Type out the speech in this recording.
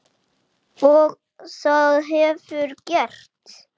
Og það hefurðu gert.